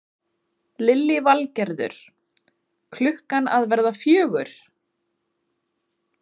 Lillý Valgerður: Klukkan að verða fjögur?